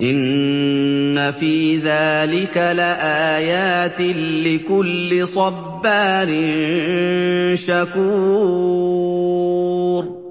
إِنَّ فِي ذَٰلِكَ لَآيَاتٍ لِّكُلِّ صَبَّارٍ شَكُورٍ